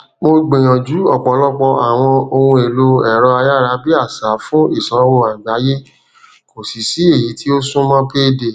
mó gbìyànjú ọpọlọpọ àwọn ohunèèlòẹrọayárabíàsá fún ìsanwó àgbáyé kò sì sí èyí tí ó súnmọ payday